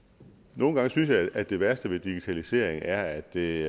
nogle gange synes jeg at det værste ved digitalisering er at det